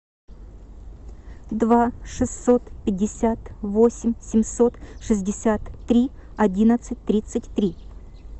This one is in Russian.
два шестьсот пятьдесят восемь семьсот шестьдесят три одиннадцать тридцать три